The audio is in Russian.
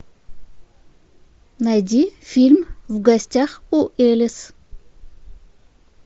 найди фильм в гостях у элис